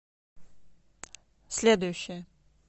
следующая